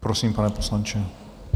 Prosím, pane poslanče.